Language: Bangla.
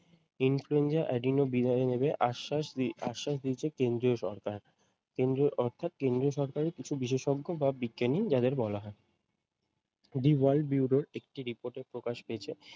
influenza Adeno আস্সাস আহ আশ্বাস দিয়েছে কেন্দ্রীয় সরকার। কেন্দ্রীয় অর্থাৎ কেন্দ্র সরকারে কিছু বিশেষজ্ঞ বা বিজ্ঞানী যাদের বলা হয়। the world bureau একটি report প্রকাশ পেয়েছে।